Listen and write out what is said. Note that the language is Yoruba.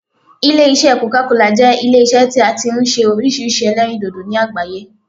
Ilé isẹ́ coca cola jẹ́ Ilé isẹ́ tí a ti n se orísirísi ẹlẹ́rìndòdò ní àgbáyé